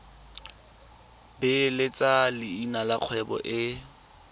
beeletsa leina la kgwebo e